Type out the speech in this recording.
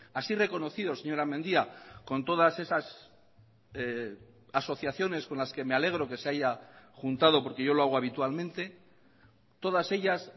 así reconocido señora mendia con todas esas asociaciones con las que me alegro que se haya juntado porque yo lo hago habitualmente todas ellas